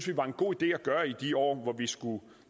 vi var en god idé at gøre i de år hvor vi skulle